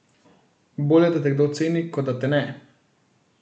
Bolje, da te kdo ceni, kot da te ne.